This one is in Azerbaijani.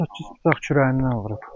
18 bıçaq kürəyindən vurub.